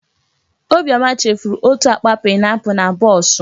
Obiọma chefuru otú akpa paịnapụlụ na bọọsụ.